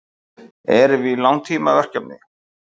Erum við í langtímaverkefni?